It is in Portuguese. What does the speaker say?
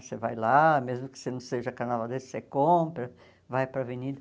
Você vai lá, mesmo que você não seja carnavalesco você compra, vai para a avenida.